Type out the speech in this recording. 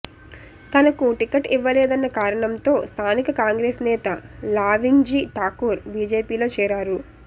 తనకు టికెట్ ఇవ్వలేదన్న కారణంతో స్థానిక కాంగ్రెస్ నేత లావింగ్జీ ఠాకూర్ బీజేపీలో చేరారు